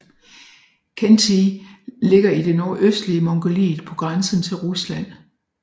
Khentij ligger i det nordøstlige Mongoliet på grænsen til Rusland